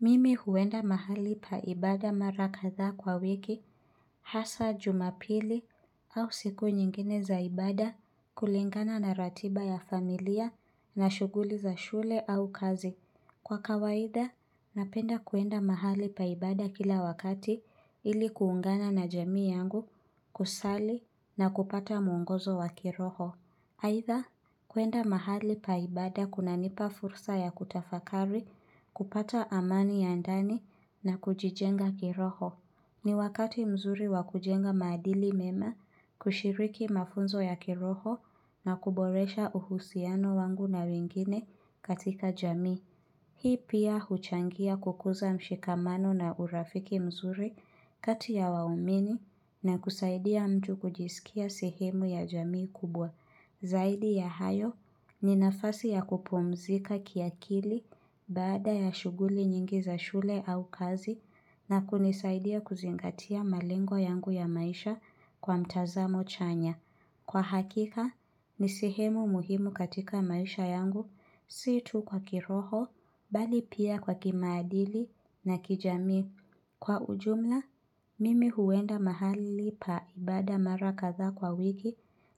Mimi huenda mahali paibada marakatha kwa wiki hasa jumapili au siku nyingine zaibada kulingana na ratiba ya familia na shuguli za shule au kazi. Kwa kawaitha, napenda kuenda mahali paibada kila wakati ili kuungana na jamii yangu, kusali na kupata mwongozo wa kiroho. Haitha, kuenda mahali paibada kuna nipa fursa ya kutafakari kupata amani ya ndani na kujijenga kiroho. Ni wakati mzuri wakujenga madili mema kushiriki mafunzo ya kiroho na kuboresha uhusiano wangu na wengine katika jami. Hii pia huchangia kukuza mshikamano na urafiki mzuri katia ya waumini na kusaidia mtu kujisikia sehemu ya jamii kubwa. Zaidi ya hayo ni nafasi ya kupumzika kiakili bada ya shuguli nyingi za shule au kazi na kunisaidia kuzingatia malengo yangu ya maisha kwa mtazamo chanya. Kwa hakika, nisihemu muhimu katika maisha yangu, sii tu kwa kiroho, bali pia kwa kimaadili na kijami. Kwa ujumla, mimi huenda mahali paibada marakatha kwa wiki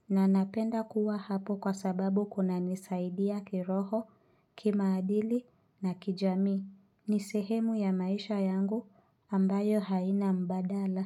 na napenda kuwa hapo kwa sababu kuna nisaidia kiroho, kimaadili na kijami. Ni sehemu ya maisha yangu ambayo haina mbadala.